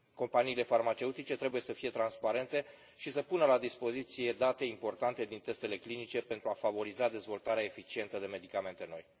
Companiile farmaceutice trebuie să fie transparente și să pună la dispoziție date importante din testele clinice pentru a favoriza dezvoltarea eficientă de medicamente noi.